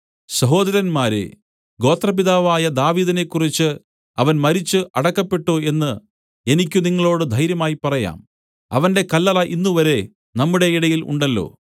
സഹോദരന്മാരേ ഗോത്രപിതാവായ ദാവീദിനെക്കുറിച്ച് അവൻ മരിച്ചു അടക്കപ്പെട്ടു എന്നു എനിക്ക് നിങ്ങളോടു ധൈര്യമായി പറയാം അവന്റെ കല്ലറ ഇന്നുവരെ നമ്മുടെ ഇടയിൽ ഉണ്ടല്ലോ